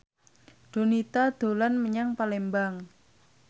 Donita dolan menyang Palembang